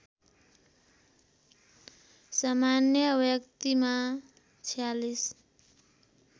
सामान्य व्यक्तिमा ४६